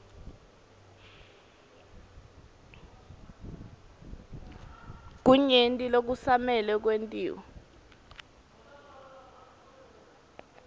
kunyenti lokusamele kwentiwe